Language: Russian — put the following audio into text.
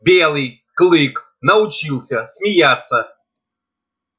белый клык научился смеяться